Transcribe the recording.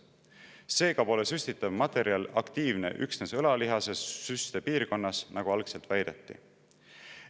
Seega pole süstitav materjal aktiivne üksnes õlalihase süstepiirkonnas, nagu algselt väideti.